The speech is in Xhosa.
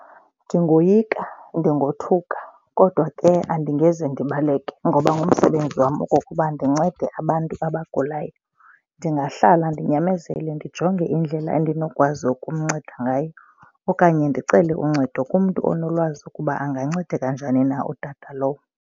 Ndingoyika, ndingothuka kodwa ke andingeze ndibaleke ngoba ngumsebenzi wam okokuba ndincede abantu abagulayo. Ndingahlala ndinyamezele, ndijonge indlela andinokwazi ukumnceda ngayo okanye ndicele uncedo kumntu onolwazi ukuba angancedeka njani na utata lowo.